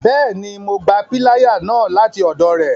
Bẹẹni, Mo gbà piláyà náà lati ọdọ rẹ